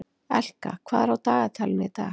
Elka, hvað er á dagatalinu í dag?